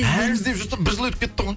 әлі іздеп жүрсің бір жыл өті кетті ғой